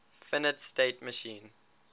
finite state machine